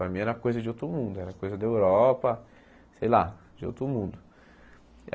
Para mim era coisa de outro mundo, era coisa da Europa, sei lá, de outro mundo.